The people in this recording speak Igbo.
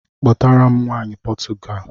Kpọtara m nwaanyị Potugali